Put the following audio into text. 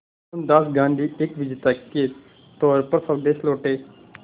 मोहनदास गांधी एक विजेता के तौर पर स्वदेश लौटे